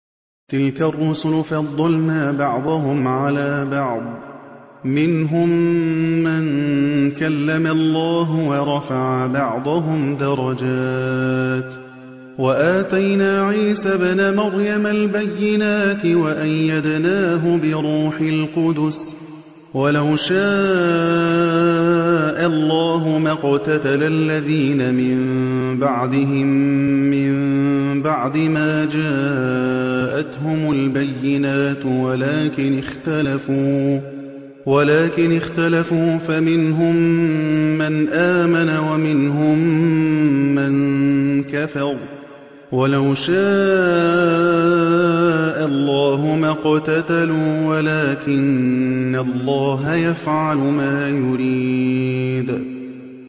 ۞ تِلْكَ الرُّسُلُ فَضَّلْنَا بَعْضَهُمْ عَلَىٰ بَعْضٍ ۘ مِّنْهُم مَّن كَلَّمَ اللَّهُ ۖ وَرَفَعَ بَعْضَهُمْ دَرَجَاتٍ ۚ وَآتَيْنَا عِيسَى ابْنَ مَرْيَمَ الْبَيِّنَاتِ وَأَيَّدْنَاهُ بِرُوحِ الْقُدُسِ ۗ وَلَوْ شَاءَ اللَّهُ مَا اقْتَتَلَ الَّذِينَ مِن بَعْدِهِم مِّن بَعْدِ مَا جَاءَتْهُمُ الْبَيِّنَاتُ وَلَٰكِنِ اخْتَلَفُوا فَمِنْهُم مَّنْ آمَنَ وَمِنْهُم مَّن كَفَرَ ۚ وَلَوْ شَاءَ اللَّهُ مَا اقْتَتَلُوا وَلَٰكِنَّ اللَّهَ يَفْعَلُ مَا يُرِيدُ